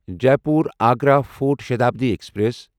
Jaipur Agra fort Shatabdi express